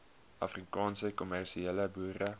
afrikaanse kommersiële boere